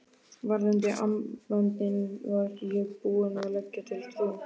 Varðandi armböndin var ég búinn að leggja til Trú